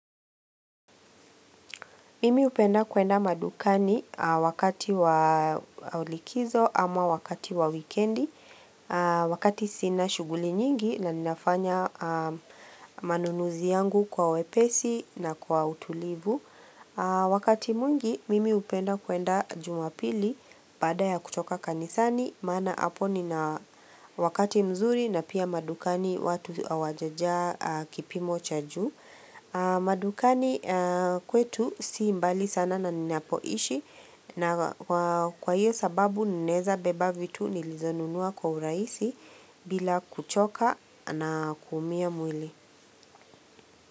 Mimi hupenda kwenda madukani wakati wa likizo ama wakati wa wikendi, wakati sina shughuli nyingi na ninafanya manunuzi yangu kwa wepesi na kwa utulivu. Wakati mwingi mimi hupenda kwenda Jumapili baada ya kutoka kanisani, maana hapo nina wakati mzuri na pia madukani watu hawajajaa kipimo cha juu. Madukani kwetu si mbali sana na ninapoishi na kwa hiyo sababu ninaweza beba vitu nilizonunua kwa urahisi bila kuchoka na kuumia mwili.